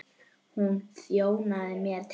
Hún þjónaði mér til borðs.